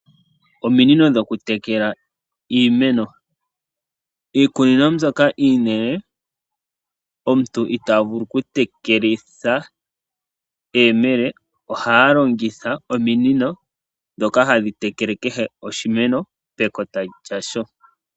Ominino dhokutekela iimeno, iikunino mbyoka iinene omutu itaa vulu okutekelitha eyemele ohaya longitha ominino ndhoka hadhi tekele kehe oshimeno pekota lyasho.